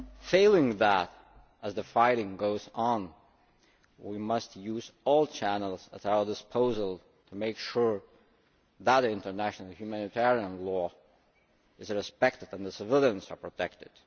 Failing that, as the fighting goes on, we must use all channels at our disposal and make sure that international humanitarian law is respected and the civilians are protected.